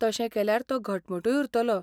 तशें केल्यार तो घटमूटूय उरतलो.